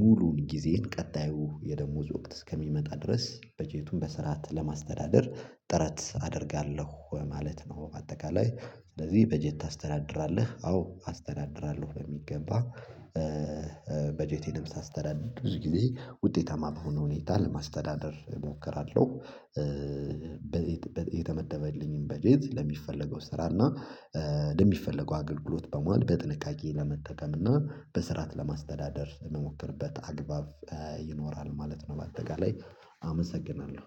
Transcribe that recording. ሙሉውን ጊዜን ቀጣዩ የደሞዝ ወቅት እስከሚመጣ ድረስ በጀቱን በስርዓት ለማስተዳደር ጥረት አደርጋለሁ ማለት ነው። በአጠቃላይ ስለዚህ በጀት ታስተዳድራለህ? አዎ አስተዳድራለሁ በሚገባ። በጀቴንም ሳስተዳድር ብዙ ጊዜ ውጤታማ በሆነ ሁኔታ ለማስተዳደር እሞክራለሁ። በቤት የተመደበልኝን በጀት ለሚፈለገው ስራ እና ለሚፈለገው አገልግሎት በማዋል በጥንቃቄ ለመጠቀም እና በስርዓት ለማስተዳደር የምሞክርበት አግባብ ይኖራል ማለት ነው። በአጠቃላይ አመሰግናለሁ።